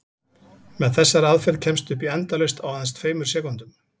Með þessari aðferð kemstu upp í endalaust á aðeins tveimur sekúndum!